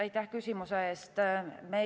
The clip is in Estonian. Aitäh küsimuse eest!